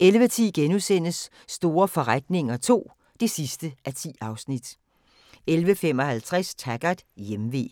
11:10: Store forretninger II (10:10)* 11:55: Taggart: Hjemve